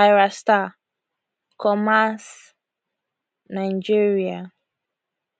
ayra starr commas nigeria